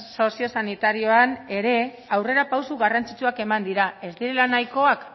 sozio sanitarioan ere aurrerapauso garrantzitsuak eman dira ez direla nahikoak